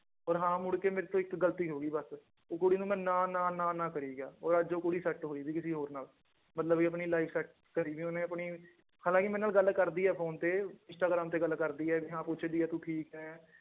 ਔਰ ਹਾਂ ਮੁੜਕੇ ਮੇਰੇ ਤੋਂ ਇੱਕ ਗ਼ਲਤੀ ਹੋ ਗਈ ਬਸ ਉਹ ਕੁੜੀ ਨੂੰ ਮੈਂ ਨਾ ਨਾ ਨਾ ਨਾ ਕਰੀ ਗਿਆ ਔਰ ਅੱਜ ਉਹ ਕੁੜੀ ਸੈਟ ਹੋ ਗਈ ਕਿਸੇ ਹੋਰ ਨਾਲ ਮਤਲਬ ਵੀ ਆਪਣੀ life set ਕਰੀ ਵੀ ਉਹਨੇ ਆਪਣੀ ਹਾਲਾਂਕਿ ਮੇਰੇ ਨਾਲ ਗੱਲ ਕਰਦੀ ਹੈ ਫ਼ੋਨ ਤੇ ਇੰਸਟਾਗ੍ਰਾਮ ਤੇ ਗੱਲ ਕਰਦੀ ਹੈ ਵੀ ਹਾਂ ਪੁੱਛਦੀ ਹੈ ਤੂੰ ਠੀਕ ਹੈ